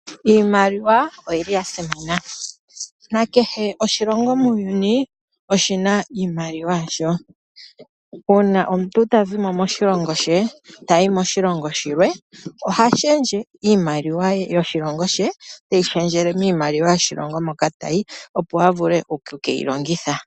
Iimaliwa oyi li ya simana nakehe oshilongo muuyuni oshi na iimaliwa yasho. Uuna omuntu ta zimo moshilongo she tayi moshilongo shilwe oha shendje iimaliwa ye yoshilongo she teyi shendjele miimaliwa yoshilongo hoka tayi opo a vule okukeyi longitha.